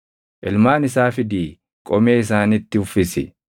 Ilmaan isaa fidii qomee isaanitti uffisi;